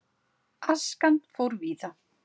Askan fór víða.